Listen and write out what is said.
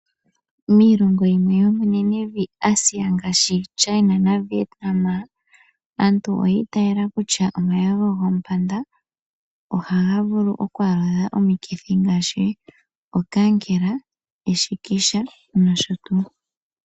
Miilongo yimwe yo menenevi Asia ngaashi China na Vietnam, aantu oya itaala kutya, omayego goompanda ohaga vulu oku aludha omikithi ngaashi okankela, eshikisha nosho tuu.